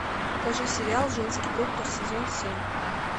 покажи сериал женский доктор сезон семь